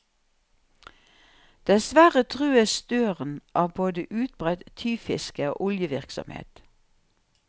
Dessverre trues støren av både utbredt tyvfiske og oljevirksomhet.